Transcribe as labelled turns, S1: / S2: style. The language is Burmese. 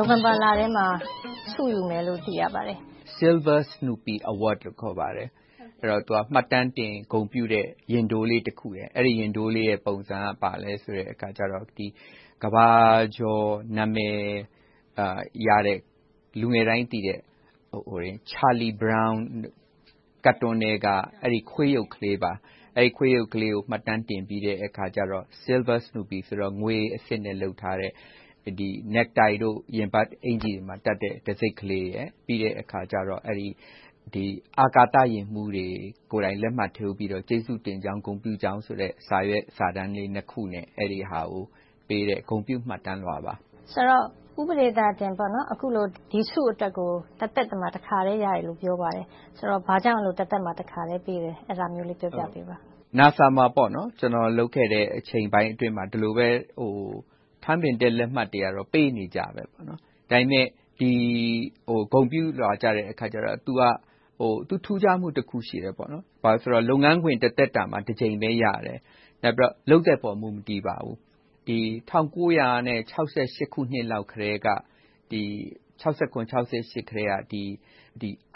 S1: ိုဝင်ဘာလထဲမှာ ဆုယူမယ်လို့ သိရပါတယ်။
S2: Silver Snoopy Award လို့ ခေါ်ပါတယ်။ မှတ်တမ်းတင် ဂုဏ်ပြုတဲ့ ရင်ထိုးလေးတခုပါ။ အဲဒီရင်ထိုးလေးရဲ့ ပုံစံက ကမ္ဘာကျော် နာမည်ရတဲ့၊ လူငယ်တိုင်းသိတဲ့ Charlie Brown ကာတွန်းထဲက အဲဒီခွေးရုပ်လေးပါ။ အဲဒီခွေးရုပ်လေးကို မှတ်တမ်းတင်ပြီး၊ Silver Snoopy ဆိုတော့ ငွေအဆစ်နဲ့လုပ်ထားတဲ့ necktie တို့ ရင်ဘတ်အင်္ကျ ီတို့မှာတပ်တံဆိပ်ကလေးရယ်၊ ပြီးတော့ အာကာသယာဉ်မှူးတွေကိုယ်တိုင် လက်မှတ်ထိုးပြီးတော့ ကျေးဇူးတင်ကြောင်း၊ ဂုဏ်ပြုကြောင်းဆိုတဲ့ စာရွက်စာတမ်းလေးနှစ်ခုနဲ့ အဲဒီဟာကိုပေးတဲ့ ဂုဏ်ပြုမှတ်တမ်းလွှာပါ။
S1: ဦးပဒေသာတင် အခုလို ဒီဆုအတွက်ကို တသက်မှာ တခါပဲရတယ်လို့ ပြောပါတယ်။ ဆိုတော့ ဘာကြောင့် တသက်မှာ တခါပဲ ပေးရတာလဲ။ အဲဒါကို ပြောပြပေးပါ။
S2: NASA မှာ ကျနော် လုပ်ခဲ့တဲ့အချိန်ပိုင်းအတွင်းမှာ ဒီလိုပဲ ထန်းပင်တက်လက်မှတ်တွေကတော့ ပေးနေကြပါ။ ဒါပေမဲ့ ဒီဂုဏ်ပြုလွှာကြတော့ သူ့ရဲ့ထူးခြားမှုတခုက လုပ်ငန်းခွင်တသက်တာမှာ တကြိမ်ပဲရတယ်။ နောက်ပြီးတော့ လုပ်သက်ပေါ် မူမတည်ပါဘူး။ ၁၉၆၇-၆၈ ခုနှစ်လောက်ကတည်းက